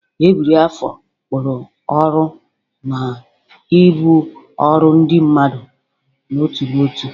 Ebiri afọ kpụrụ ọrụ na ibu ọrụ ndị mmadụ n'otu n'otu.